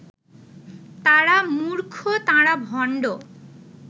তাঁরা মূর্খ তাঁরা ভণ্ড